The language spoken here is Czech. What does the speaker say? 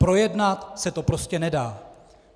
Projednat se to prostě nedá.